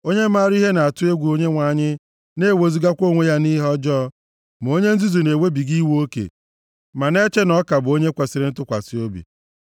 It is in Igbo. Onye mara ihe na-atụ egwu Onyenwe anyị na-ewezugakwa onwe ya nʼihe ọjọọ, ma onye nzuzu na-ewebiga iwe oke ma na-eche na ọ ka bụ onye kwesiri ntụkwasị obi.